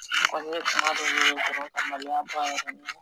A kɔni ye kuma dɔ ɲini ka maloya bɔ a yɛrɛ la.